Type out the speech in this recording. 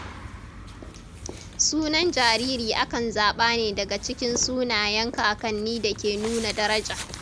Sunan jariri akan zaɓa ne daga cikin sunayen kakanni da ke nuna daraja.